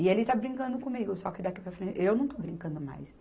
E ele está brincando comigo, só que daqui para frente eu não estou brincando mais.